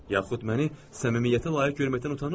Yaxud məni səmimiyyətə layiq görməkdən utanırsız?